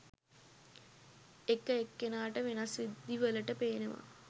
එක එක්කෙනාට වෙනස් විදි වලට පේනවා.